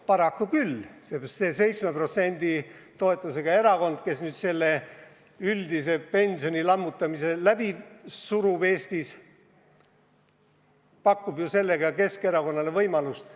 Paraku küll, seepärast, et see 7% rahva toetusega erakond, kes nüüd üldise pensionisüsteemi lammutamise Eestis läbi surub, pakub ju sellega Keskerakonnale võimalust.